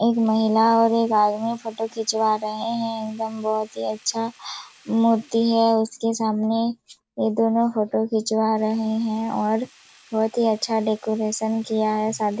एक महिला और एक आदमी फोटो खिचवा रहे हैं एकदम बहुत ही अच्छा मूर्ति है उसके सामने ये दोनों फोटो खिंचवा रहे है और बहुत ही अच्छा डेकोरेशन किया है शादी--